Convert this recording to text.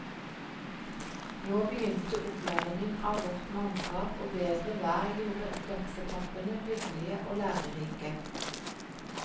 Nå begynte opplæringen av vårt mannskap og bedre vær gjorde dagsetappene hyggelige og lærerike.